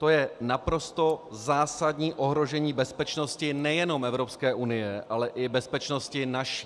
To je naprosto zásadní ohrožení bezpečnosti nejenom Evropské unie, ale i bezpečnosti naší.